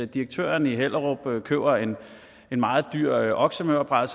direktøren i hellerup køber en meget dyr oksemørbrad